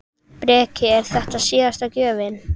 Breki: Er þetta síðasta gjöfin?